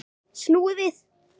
Snúið við.